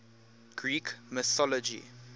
greek mythology